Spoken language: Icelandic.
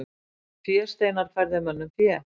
Fésteinar færðu mönnum fé.